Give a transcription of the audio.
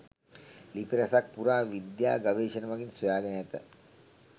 ලිපි රැසක් පුරා විද්‍යා ගවේශණ මගින් සොයගෙන ඇත.